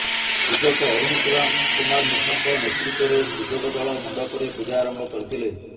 ପୂଜକ ଅରୁଣ କୁମାର ମିଶ୍ରଙ୍କ ନେତୃତ୍ୱରେ ପୂଜକ ଦଳ ମଣ୍ଡପରେ ପୂଜା ଆରମ୍ଭ କରିଥିଲେ